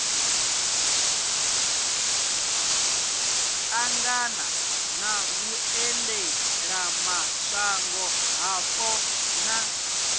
ṱangana na vhuendelamashango hapo na